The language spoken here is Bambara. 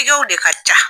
Tigɛw de ka ca